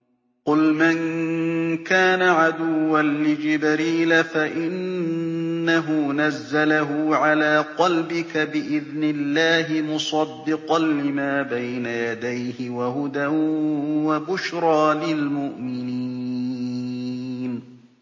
قُلْ مَن كَانَ عَدُوًّا لِّجِبْرِيلَ فَإِنَّهُ نَزَّلَهُ عَلَىٰ قَلْبِكَ بِإِذْنِ اللَّهِ مُصَدِّقًا لِّمَا بَيْنَ يَدَيْهِ وَهُدًى وَبُشْرَىٰ لِلْمُؤْمِنِينَ